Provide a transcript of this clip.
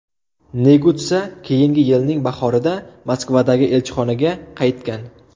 Negutsa keyingi yilning bahorida Moskvadagi elchixonaga qaytgan.